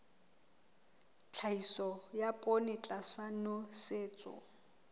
tlhahiso ya poone tlasa nosetso